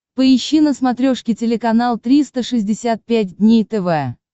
поищи на смотрешке телеканал триста шестьдесят пять дней тв